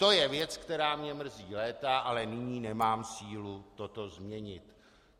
To je věc, která mě mrzí léta, ale nyní nemám sílu toto změnit.